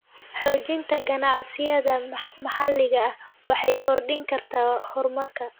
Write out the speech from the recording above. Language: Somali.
Xoojinta ganacsiyada maxalliga ah waxay kordhin kartaa horumarka.